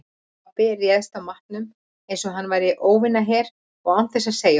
Pabbi réðst að matnum einsog hann væri óvinaher og án þess að segja orð.